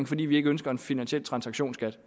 fordi vi ikke ønsker en finansiel transaktionsskat